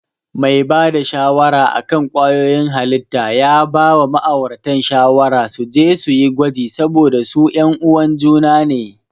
Mai bada shawara akan ƙwayoyin halitta ya bawa ma'auratan shawara suje suyi gwaji saboda su yan uwan juna ne.